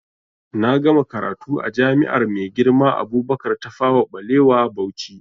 Na gama karatu a jami'ar Maigirma Abubakar Tafawa Ɓalewa Bauchi